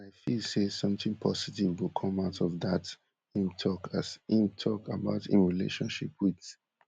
and i feel say somtin positive go come out of dat im tok as im tok about im relationship wit